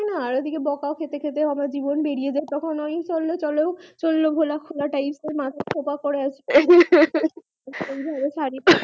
আর এদিকে বোকা খেতে খেতে আমার জবন বেরিয়ে যাই তখন ওই চলো চললো ভোলা খোলা type এর মাথায় খোঁপা করে ওই ভাবে শাড়ী পরে